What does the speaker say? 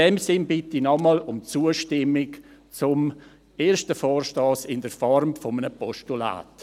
In diesem Sinn bitte ich nochmals um Zustimmung zum ersten Vorstoss in der Form eines Postulats.